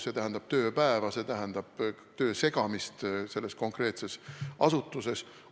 See tähendab tööpäeva, see tähendab töö segamist selles konkreetses asutuses.